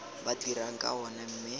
ba dirang ka ona mme